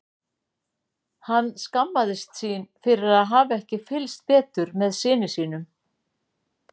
Hann skammaðist sín fyrir að hafa ekki fylgst betur með syni sínum.